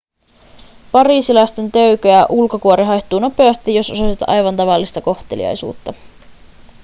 pariisilaisten töykeä ulkokuori haihtuu nopeasti jos osoitat aivan tavallista kohteliaisuutta